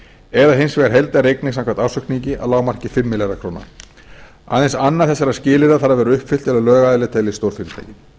eða hins vegar heildareignir samkvæmt ársreikningi að lágmarki fimm milljarðar króna aðeins annað þessara skilyrða þarf að vera uppfyllt til að lögaðili teljist stórfyrirtæki